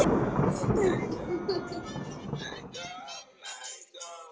Gutta, hann var farinn að fara í taugarnar á mér.